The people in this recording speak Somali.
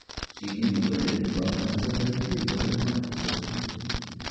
Shinnidu waxay u baahan tahay deegaan wanaagsan.